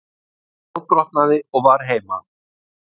Ég fótbrotnaði og var heima.